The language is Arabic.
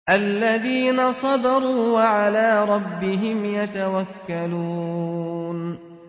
الَّذِينَ صَبَرُوا وَعَلَىٰ رَبِّهِمْ يَتَوَكَّلُونَ